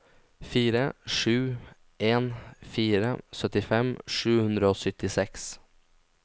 fire sju en fire syttifem sju hundre og syttiseks